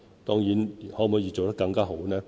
當然，我們可否做得更好？